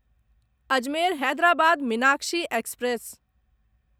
Ajmer Hyderabad Meenakshi express